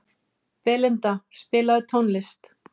Belinda, spilaðu tónlist.